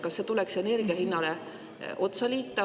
Kas see tuleks energia hinnale otsa liita?